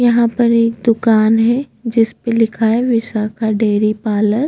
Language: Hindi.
यहाँ पर एक दुकान है जिसपे लिखा है विशाखा डेरी पार्लर --